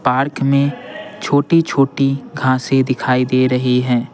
Park में छोटी-छोटी घांसे दिखाई दे रही हैं।